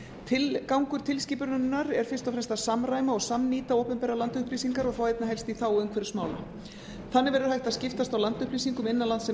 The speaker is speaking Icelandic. tilgangur tilskipunarinnar er fyrst og fremst að samræma og samnýta opinbera landupplýsingar og svo einnig helst í þágu umhverfismála þannig verður hægt að skiptast á landupplýsingum innan lands sem